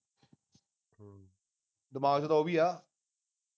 ਦਿਮਾਗ ਵਿਚ ਤਾਂ ਉਹ ਵੀ ਆ